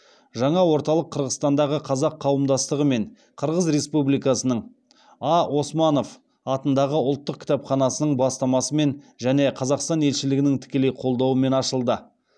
жаңа орталық қырғызстандағы қазақ қауымдастығы мен қырғыз республикасының а османов атындағы ұлттық кітапханасының бастамасымен және қазақстан елшілігінің тікелей қолдауымен ашылды